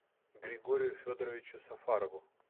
григорию федоровичу сафарову